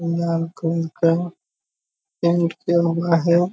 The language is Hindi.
लाल कलर का पेंट किया हुआ है।